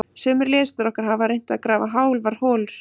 Sumir lesendur okkar hafa reynt að grafa hálfar holur.